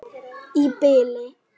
Í bili.